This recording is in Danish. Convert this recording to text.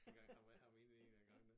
Engang jeg jeg var inde en af gangene